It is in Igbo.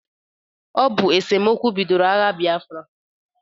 Ọ bụ esomokwu bidoro agha biafra.